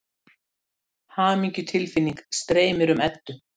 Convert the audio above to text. Hamingjutilfinning streymir um Eddu.